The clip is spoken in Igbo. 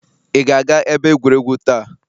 Ị ga-aga ebe egwuregwu taa?